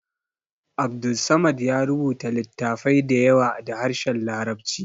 Abdulsamad ya rubuta littafai da yawa da harshen larabci